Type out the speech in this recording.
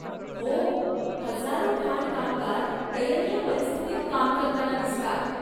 हो, हजारो खाण कामगार दयनीय परिस्थितीत काम करताना दिसतात.